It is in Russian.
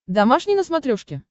домашний на смотрешке